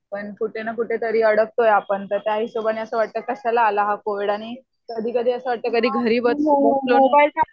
पण कुठे न कुठेतरी अडकतोय आपण. त्याहिशोबाने वाटतं कशाला आला हा कोविड आणि कधी कधी असं वाटतं की घरी बसून